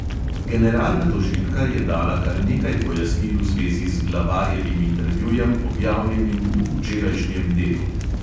Generalna tožilka je dala kar nekaj pojasnil v zvezi z glavarjevim intervjujem, objavljenim v včerajšnjem delu.